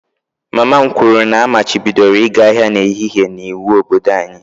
Mama m kwuru na a machibidoro ịga ahịa n'ehihie iwu n'obodo anyị